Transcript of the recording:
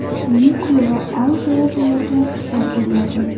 Video va audio yozuvlarga ruxsat beriladi.